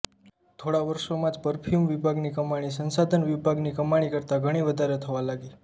થોડા વર્ષોમાં જ પર્ફ્યુમ વિભાગની કમાણી સંસાધન વિભાગની કમાણી કરતાં ઘણી વધારે થવા લાગી